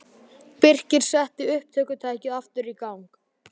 Birkir setti upptökutækið aftur í gang.